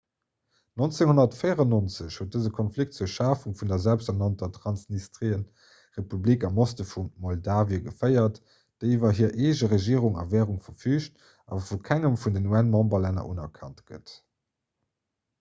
1994 huet dëse konflikt zur schafung vun der selbsternannter transnistrien-republik am oste vu moldawie geféiert déi iwwer hir eege regierung a wärung verfüügt awer vu kengem vun den un-memberlänner unerkannt gëtt